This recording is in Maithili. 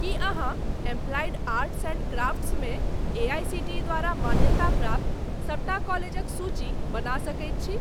की अहाँ एप्लाइड आर्ट्स एंड क्राफ्ट्स मे एआईसीटीई द्वारा मान्यताप्राप्त सबटा कॉलेजक सूची बना सकैत छी?